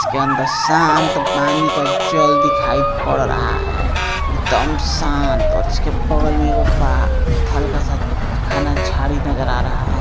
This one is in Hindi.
इसके अंदर शांत पानी का जल दिखाई पड़ रहा है। एकदम शांत और इसके बगल में एगो पा थ- हल्का सा एक घना झाड़ी नज़र आ रहा है।